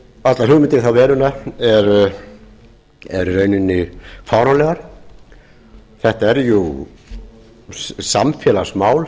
allar hugmyndir í þá veruna eru í rauninni fáránlegar þetta er samfélagsmál